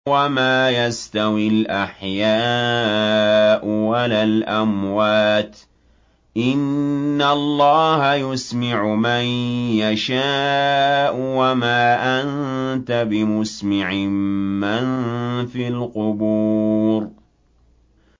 وَمَا يَسْتَوِي الْأَحْيَاءُ وَلَا الْأَمْوَاتُ ۚ إِنَّ اللَّهَ يُسْمِعُ مَن يَشَاءُ ۖ وَمَا أَنتَ بِمُسْمِعٍ مَّن فِي الْقُبُورِ